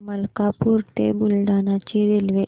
मलकापूर ते बुलढाणा ची रेल्वे